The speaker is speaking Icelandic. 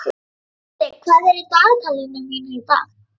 Henrik, hvað er í dagatalinu mínu í dag?